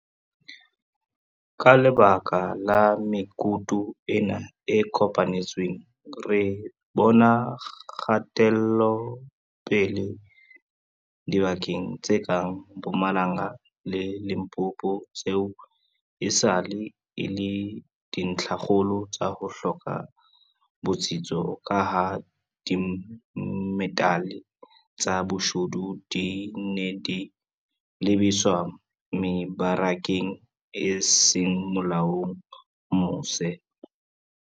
Ka lebaka la mekutu ena e kopanetsweng, re bona kgatelopele dibakeng tse kang Mpumalanga le Limpopo tseo esale e le dintlhakgolo tsa ho hloka botsitso kaha dimetale tsa boshodu di ne di lebiswa mebarakeng e seng molaong mose.